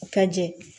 U ka jɛ